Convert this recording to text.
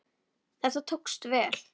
Þetta tókst vel.